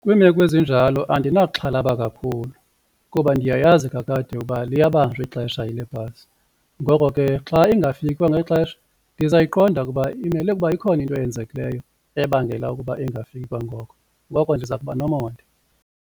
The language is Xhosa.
Kwiimeko ezinjalo andinaxhalaba kakhulu kuba ndiyayazi kakade uba liyabanjwa ixesha yile bhasi ngoko ke xa ingafiki kwangexesha ndizayiqonda ukuba imele ukuba ikhona into eyenzekileyo ebangela ukuba ingafiki kwangoko ngoko ndiza kuba nomonde.